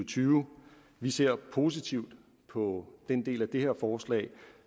tyve vi ser positivt på den del af det her forslag